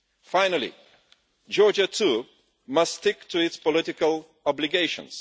Finally, Georgia too must stick to its political obligations.